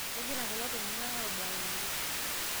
kegira kulo tunganak aabuaya oleng